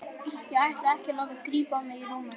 Ég ætla ekki að láta grípa mig í rúminu.